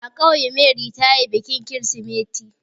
A ƙauye Mary ta yi bikin kirsimeti.